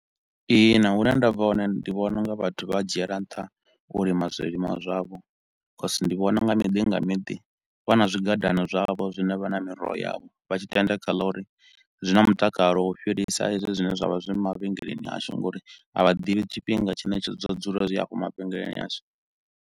Ihina, hune nda bva hone, ndi vhona u nga vhathu vha dzhiela nṱha u lima zwilimwa zwavho cause ndi vhona nga miḓi nga miḓi, vha na zwigwadana zwavho zwine vha na miroho yavho. Vha tshi tenda kha ḽa uri zwi na mutakalo u fhirisa hezwi zwine zwa vha zwi mavhengeleni ashu nga uri a vha ḓivhi tshifhinga tshine tsho zwo dzula zwi afho mavhengeleni ashu.